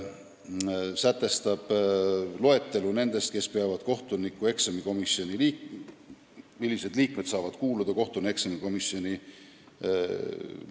Selles on loetelu nendest, kes saavad kuuluda kohtunikueksamikomisjoni.